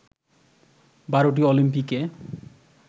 বারোটি অলিম্পিকে